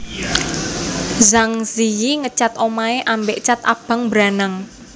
Zhang Ziyi ngecat omahe ambek cat abang mbranang